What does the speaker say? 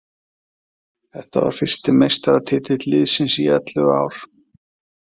Þetta var fyrsti meistaratitill liðsins í ellefur ár.